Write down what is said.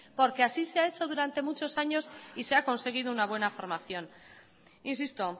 porque así se ha hecho durante muchos años y se ha conseguido una buena formación insisto